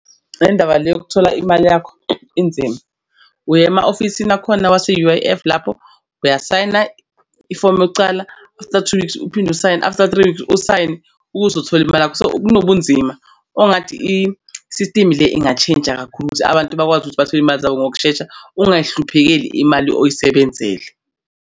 Indaba le yokuthola imali yakho inzima uye ema ofisini akhona wase-U_I_F lapho uyasayina ifomu yokucala after two weeks uphinde usayine after three weeks usayine ukuthi uthole imali yakho. So kunobunzima ongathi i-system le ingatshintsha kakhulu ukuthi abantu bakwazi ukuthi bathole imali zabo ngokushesha ungayihluphekeli imali oyisebenzele.